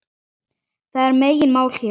Það er megin mál hér.